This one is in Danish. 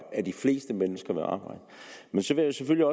at de fleste mennesker vil arbejde men så vil jeg